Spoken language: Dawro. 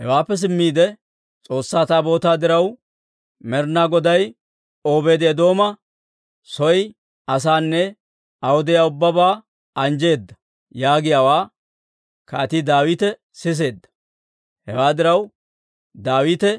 Hewaappe simmiide, «S'oossaa Taabootaa diraw, Med'inaa Goday Obeedi-Eedooma soo asaanne aw de'iyaa ubbabaa anjjeedda» yaagiyaawaa Kaatii Daawite siseedda; hewaa diraw, Daawite